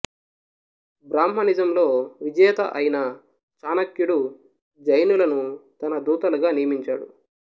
బ్రాహ్మణిజంలో విజేత అయిన చాణక్యుడు జైనులను తన దూతలుగా నియమించాడు